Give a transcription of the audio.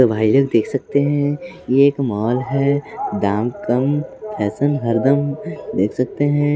भाई लोग देख सकते हैं ये एक माल है दाम कम फैशन हरदम देख सकते हैं।